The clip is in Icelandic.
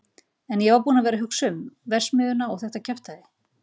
En ég var búinn að vera að hugsa um. verksmiðjuna og þetta kjaftæði.